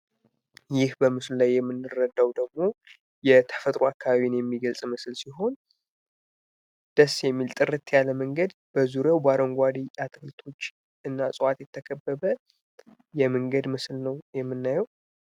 ይህ በምስሉ ላይ የምንረዳው ደግሞ የተፈጥሮ አካባቢን የሚገልጽ ምስል ሲሆን ደስ የሚል ጥርት ያለ መንገድ በዙሪያው በአረንጓዴ አትክልቶች እናቶች የተከበረ የመንገድ ምስል ነው የምናየው።